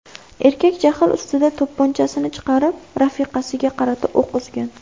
Erkak jahl ustida to‘pponchasini chiqarib, rafiqasiga qarata o‘q uzgan.